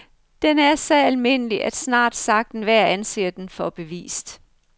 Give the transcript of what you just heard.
Den er så almindelig, at snart sagt enhver anser den for bevist.